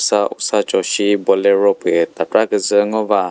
ta usacho shi bolero pü tatra küzü ngo va.